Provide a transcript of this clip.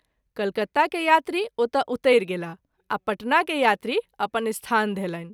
कलकत्ता के यात्री ओतय उतरि गेलाह आ पटना के यात्री अपन स्थान धयलनि।